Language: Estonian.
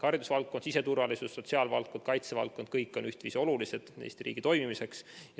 Haridusvaldkond, siseturvalisus, sotsiaalvaldkond ja kaitsevaldkond on kõik Eesti riigi toimimiseks ühtviisi olulised.